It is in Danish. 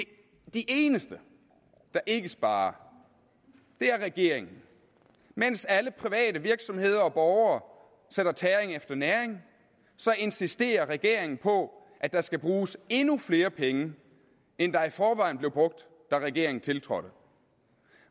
de eneste der ikke sparer er regeringen mens alle private virksomheder og borgere sætter tæring efter næring insisterer regeringen på at der skal bruges endnu flere penge end der i forvejen blev brugt da regeringen tiltrådte